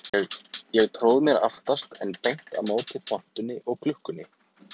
Ég tróð mér aftast en beint á móti pontunni og klukkunni.